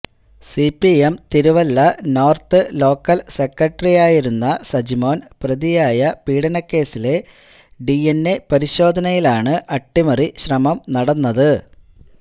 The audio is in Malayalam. സിപിഎം തിരുവല്ല നോർത്ത് ലോക്കൽ സെക്രട്ടറിയായിരുന്ന സജിമോൻ പ്രതിയായ പീഡനക്കേസിലെ ഡിഎൻഎ പരിശോധനയിലാണ് അട്ടിമറി ശ്രമം നടന്നത്